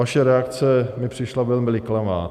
Vaše reakce mi přišla velmi liknavá.